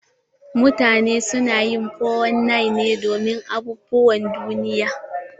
Mutane su na 419 ne domin abubuwan duniya.